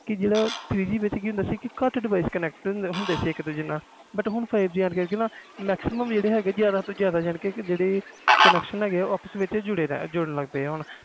three G ਵਿਚ ਜਿਹੜਾ ਹੁੰਦਾ ਘਟ device connect ਹੁੰਦੇ ਸੀ ਹੁਣ five g ਆ ਗਿਆ ਨਾ but ਹੁਣ five G ਨਾਲ ਜਿਆਦਾ ਜਿਆਦਾ ਜੁੜੇ ਰਹਦੇ ਆ